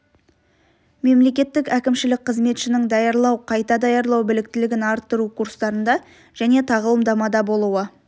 мемлекеттік әкімшілік қызметшінің даярлау қайта даярлау біліктілігін арттыру курстарында және тағылымдамада болуы